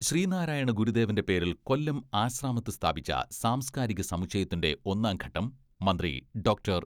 ശ്രീനാരായണ ഗുരുദേവന്റെ പേരിൽ കൊല്ലം ആശ്രാമത്ത് സ്ഥാപിച്ച സാംസ്കാരിക സമുച്ചയത്തിന്റെ ഒന്നാംഘട്ടം മന്ത്രി ഡോക്ടർ.